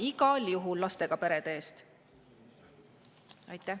Me seisame igal juhul lastega perede eest!